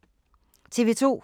TV 2